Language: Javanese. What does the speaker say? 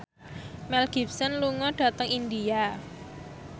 Mel Gibson lunga dhateng India